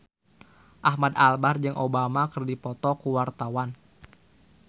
Ahmad Albar jeung Obama keur dipoto ku wartawan